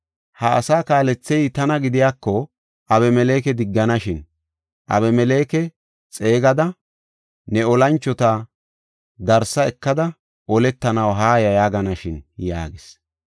Ha asaa kaalethey tana gidiyako Abimeleke digganashin. Abimeleke xeegada, ‘Ne olanchota darsa ekada oletanaw haaya’ yaaganashin” yaagis.